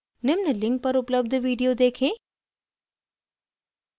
निम्न link पर उपलब्ध video देखें